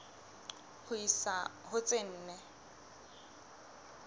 ho isa ho tse nne